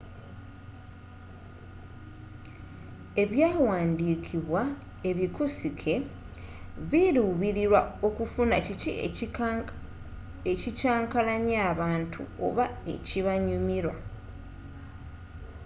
ebyaawandiikibwa ebikusike biluubililwa ku kufuna kiki ekikyankalanya abantu oba ekibanyumila